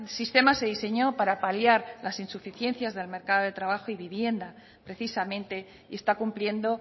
sistema se diseñó para paliar las insuficiencias del mercado de trabajo y vivienda precisamente y está cumpliendo